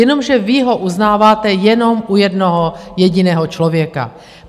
Jenomže vy ho uznáváte jenom u jednoho jediného člověka.